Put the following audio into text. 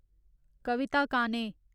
कविता काने